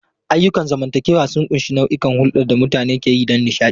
Ayyukan zamantakewa sun ƙunshi nau'ikan hulɗar da mutane ke yi don nishaɗi.